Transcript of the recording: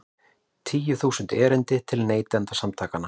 Tíu þúsund erindi til Neytendasamtakanna